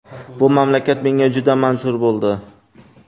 Bu mamlakat menga juda manzur bo‘ldi.